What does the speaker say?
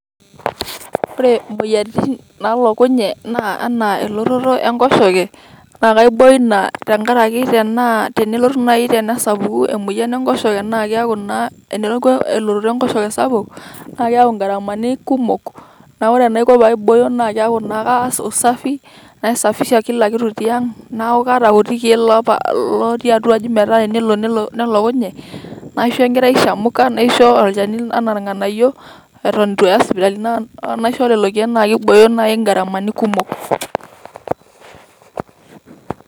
ore imoyiaritin naalokunye naa enaa elototo enkoshoke, naa kaiboyoo ina tenkaraki tenaa tenelotu naai tenesapuku emoyian enkoshoke naa keaku naa eneeku elototo enkoshoke sapuk, naa keeku in`garamani kumok. Naa ore enaiko pee aibooyo naa keeku naa ekaas usafi, naisafisha kila kitu tiang', neeku kaata oti kiek lootii atua aji meeta tenelo nelokunye, naisho enkerai shamka, naisho olchani enaa irng'anayio, eton itu aya isipitalini, naa naisho lelo kiek naa keiboyoo naai in`garamani kumok